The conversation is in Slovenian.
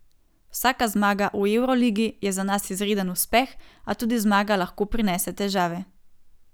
Vsaka zmaga v evroligi je za nas izreden uspeh, a tudi zmaga lahko prinese težave.